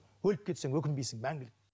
өліп кетсең өкінбейсің мәңгілік